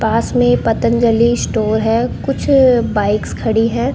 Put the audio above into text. पास में पतंजलि स्टोर है कुछ बाइक्स खड़ी हैं।